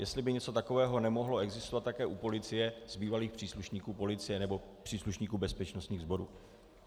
Jestli by něco takového nemohlo existovat také u policie z bývalých příslušníků policie nebo příslušníků bezpečnostních sborů.